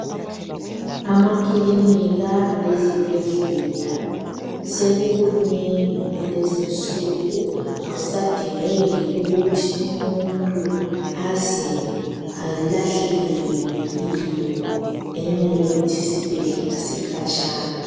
Amakilika lezibhedlela sekukunengi kulenzi insuku ,akusadingeki ukuthi umuntu aze alahlekelwe yimpilo ngenxa yokuthi isibhedlela sikhatshana.